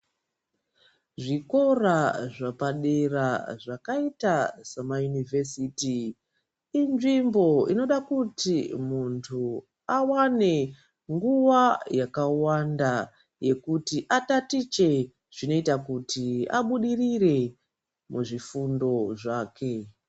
Zvikora zvepadera zvakaita semaunivhesiti kuti inzvimbo inoda kuti muntu awane nguwa yakawanda yekuti atatiche zvinoita abudirire muzvifundo zvake.